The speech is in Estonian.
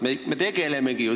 Me ju sellega tegelemegi.